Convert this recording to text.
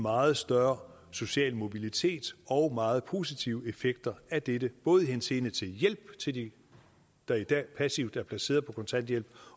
meget større social mobilitet og meget positive effekter af dette både i henseende til hjælp til dem der i dag passivt er placeret på kontanthjælp